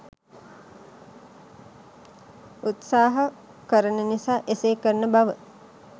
උත්සාහ කරන නිසා එසේ කරන බව